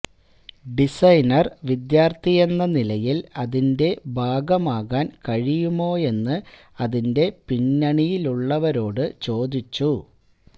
designer വിദ്യാർഥിയെന്ന നിലയിൽ അതിന്റ ഭാഗമാകാൻ കഴിയുമോയെന്ന് അതിന്റെ പിന്നണിയിലുള്ളവരോട് ചോദിച്ചു